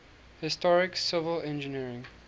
historic civil engineering